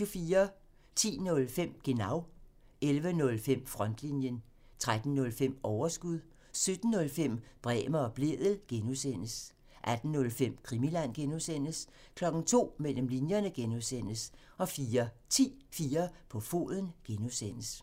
10:05: Genau (tir) 11:05: Frontlinjen (tir) 13:05: Overskud (tir) 17:05: Bremer og Blædel (G) (tir) 18:05: Krimiland (G) (tir) 02:00: Mellem linjerne (G) (tir) 04:10: 4 på foden (G) (tir)